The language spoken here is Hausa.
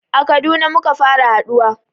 A Kaduna muka fara haɗuwa